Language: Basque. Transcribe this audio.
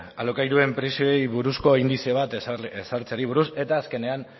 alokairuen prezioei buruzko indize bat ezartzeari buruz eta azkenean